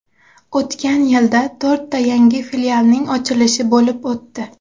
O‘tgan yilda to‘rtta yangi filialning ochilishi bo‘lib o‘tdi.